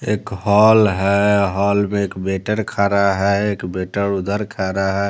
एक हॉल है हॉल में एक बेटर खा रहा है एक बेटर उधर खा रहा है।